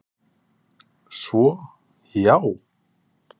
Svo, já!